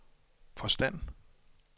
forstand